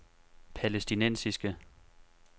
palæstinensiske